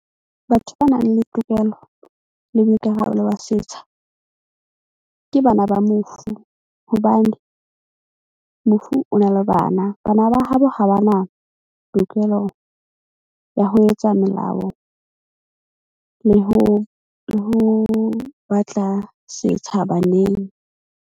Batho ba nang le tokelo le boikarabelo ba setsha ke bana ba mofu. Hobane mofu o na le bana bana ba habo ha ba na tokelo ya ho etsa melao le ho batla setsha baneng.